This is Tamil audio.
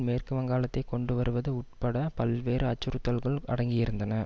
மேற்கு வங்காளத்தை கொண்டு வருவது உட்பட பல்வேறு அச்சுறுத்தல்கள் அடங்கியிருந்தன